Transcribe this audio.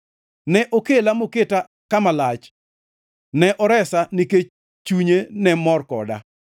Ne okela moketa kama lach; ne oresa nikech chunye ne mor koda.